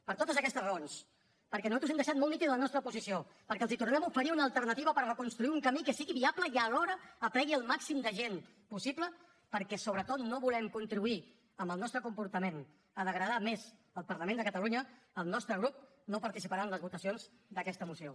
per totes aquestes raons perquè nosaltres hem deixat molt nítida la nostra posició perquè els tornarem a oferir una alternativa per reconstruir un camí que sigui viable i alhora aplegui el màxim de gent possible perquè sobretot no volem contribuir amb el nostre comportament a degradar més el parlament de catalunya el nostre grup no participarà en les votacions d’aquesta moció